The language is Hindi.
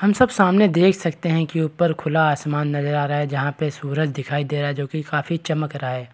हम सब सामने देख सकते हैं कि ऊपर खुला आसमान नजर आ रहा है जहाँ पे सूरज दिखाई दे रहा है जो कि काफी चमक रहा है